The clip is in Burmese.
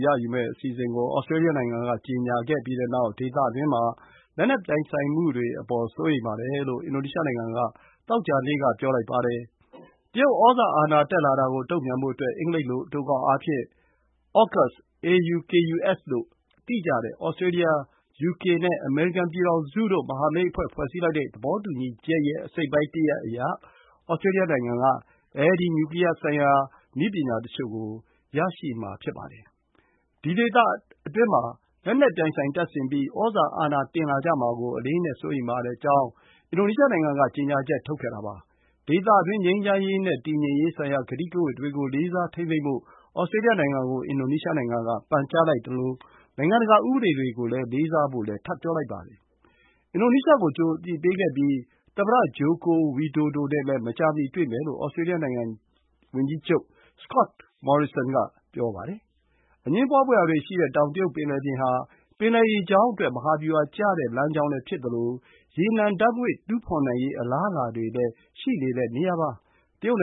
ရယူမယ့်အစီအစဉ်ကို ဩစတြေးလျနိုင်ငံက ကြေညာပြီးတဲ့နောက် ဒေသတွင်းမှာ လက်နက်ပြိုင်ဆိုင်မှုတွေအပေါ် စိုးရိမ်တယ်လို့ အင်ဒိုနီးရှားနိုင်ငံက သောကြာနေ့ က ပြောလိုက်ပါတယ်။ တရုတ်ဩဇာအာဏာ တက်လာတာကို တုံ့ပြန်ဖို့အတွက် အင်္ဂလိပ်လို အတိုကောက်အားဖြင့် အောကပ်စ် (AUKUS) လို့ သိကြတဲ့ ဩစတြေးလျ၊ ယူကေနဲ့ အမေရိကန်ပြည်ထောင်စုတို့ မဟာမိတ်အဖွဲ့ ဖွဲ့စည်းလိုက်တဲ့ သဘောတူညီချက် အစိတ်အပိုင်းတရပ်အရ ဩစတြေးလျနိုင်ငံက အဲဒီလို နျူကလီးယားဆိုင်ရာ နည်းပညာတချို့ကို ရရှိမှာပါ။ ဒီအတွက် ဒေသတွင်းမှာ လက်နက်ပြိုင်ဆိုင်တပ်ဆင်ပြီး ဩဇာအာဏာ တင်လာကြမှာကို အလေးအနက် စိုးရိမ်ပါကြောင်း အင်ဒိုနီးရှားနိုင်ငံက ကြေညာချက် ထုတ်ခဲ့တာပါ။ ဒေသတွင်း ငြိမ်းချမ်းရေးနဲ့ တည်ငြိမ်ရေး ဆိုင်ရာ ကတိကဝတ်တွေကို လေးစားထိန်းသိမ်းဖို့ ဩစတြေးလျနိုင်ငံကို ပန်ကြားလိုက်ပါတယ်။ နိုင်ငံတကာ ဥပဒေတွေ ကို လေးစားဖို့လည်း ထပ်ပြောလိုက်ပါတယ်။ အင်ဒိုနီးရှားကို ကြိုအသိပေးခဲ့ကြောင်း ဩစတြေးလျဝန်ကြီးချုပ် Scott Morrison က ပြောပါတယ်။ သမ္မတ Joko Widodo နဲ့လည်း မကြာမီ တွေ့မယ်လို့ ဆိုပါတယ်။ အငြင်းပွားဖွယ်ရာတွေရှိနေတဲ့ တောင်တရုတ်ပင်လင်ပြင်ဟာ ပင်လယ်ရေကြောင်းအတွက် မဟာဗျူဟာကျတဲ့ လမ်းကြောင်းလည်းဖြစ်သလို ရေနံနဲ့ ဓာတ်ငွေ့တူးဖော်နိုင်ရေး အလားအလာတွေလည်း ရှိနေတဲ့နေရာပါ။ တရုတ်န